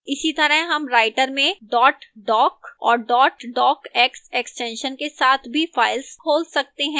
इसीतरह हम writer में dot doc और dot docx extensions के साथ भी files खोल सकते हैं